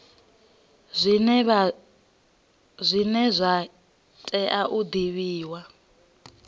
zwine zwa tea u divhiwa